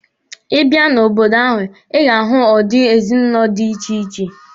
Ị bia n'obodo ahụ, Ị ga-ahụ udi ezinụlọ dị iche iche.